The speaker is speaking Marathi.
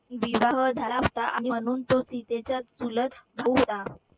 विवाह झाला असता. आणि म्हणून तो सीतेचा चुलत भाऊ होता.